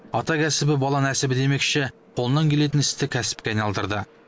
ата кәсібі бала нәсібі демекші қолынан келетін істі кәсіпке айналдырды